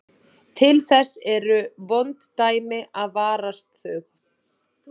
Til þess eru vond dæmi að varast þau.